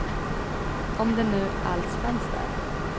Om den nu alls fanns där.